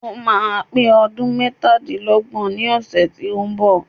Ó máa pé ọdún mẹ́tadílọ́gbọ̀n ní ọ̀sẹ̀ tí ó ń bọ̀.